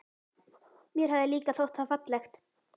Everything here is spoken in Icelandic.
Mér hafði líka þótt það fallegt.